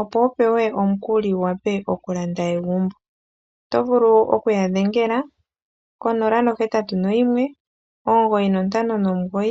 opo wu pewe omukuli wu wape okulanda egumbo. Oto vulu oku ya dhengele ko 081 9592222.